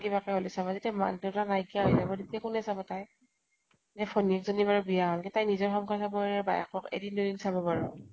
কিবাকে হলেʼও চাব । যেতিয়া মাক দেউতা ক নাইকীয়া হৈ যাব, কোনে চাব তাইক ? এ ভনীয়েক জনী বাৰু বিয়া হʼল , তাই নিজৰ সংসাৰ খন বায়েকক এদিন দুদিন চাব বাৰু